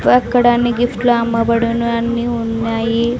అక్కడ అన్ని గిఫ్ట్లూ అమ్మబడును అన్నీ ఉన్నాయి.